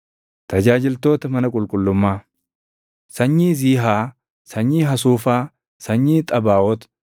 Tajaajiltoota mana qulqullummaa: Sanyii Ziihaa, sanyii Hasuufaa, sanyii Xabaaʼoot,